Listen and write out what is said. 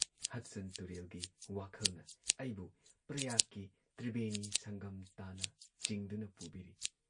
Hudson ꯇꯨꯨꯔꯦꯜꯒꯤ ꯋꯥꯈꯜꯅ ꯑꯩꯕꯨ ꯄ꯭ꯔꯌꯥꯒꯀꯤ ꯇ꯭ꯔꯤꯕꯦꯅꯤ ꯁꯪꯒꯝ ꯇꯥꯟꯅ ꯆꯤꯡꯗꯨꯅ ꯄꯨꯕꯤꯔꯤ꯫